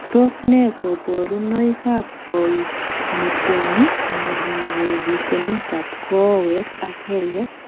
Tos nee koborunoikab koimutioni imirmire rutunetab kowek ak kelek?